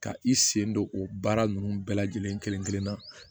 Ka i sen don o baara nunnu bɛɛ lajɛlen kelen kelen kelen na